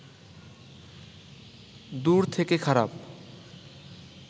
দূর থেকে খারাপ